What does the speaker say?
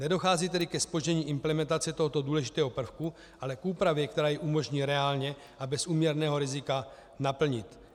Nedochází tedy ke zpoždění implementace tohoto důležitého prvku, ale k úpravě, která jej umožní reálně a bez úměrného rizika naplnit.